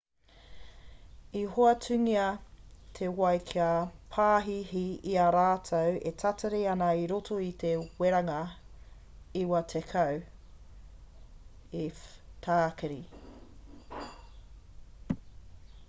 i hoatungia te wai ki ngā pāhihi i a rātou e tatari ana i roto i te weranga 90f-tākiri